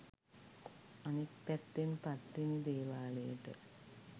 අනෙක් පැත්තෙන් පත්තිනි දේවාලයට